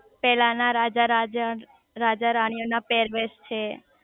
પેલા ના રાજા રાજા રાજા રાણીઓ ના પેરવેશ છે